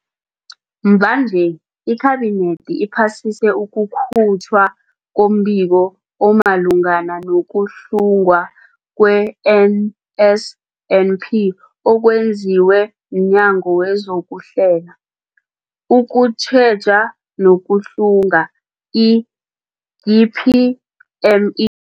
Mvanje, iKhabinethi iphasise ukukhutjhwa kombiko omalungana nokuhlungwa kwe-NSNP okwenziwe mNyango wezokuHlela, ukuTjheja nokuHlunga, i-DPME.